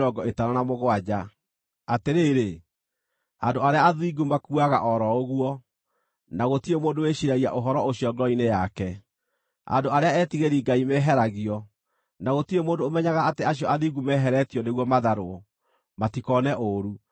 Atĩrĩrĩ, andũ arĩa athingu makuaga o ro ũguo, na gũtirĩ mũndũ wĩciiragia ũhoro ũcio ngoro-inĩ yake; andũ arĩa etigĩri-Ngai meheragio, na gũtirĩ mũndũ ũmenyaga atĩ acio athingu meheretio nĩguo matharwo, matikoone ũũru.